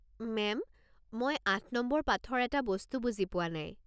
Ma'am, মই আঠ number পাঠৰ এটা বস্তু বুজি পোৱা নাই।